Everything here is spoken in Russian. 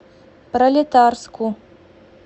пролетарску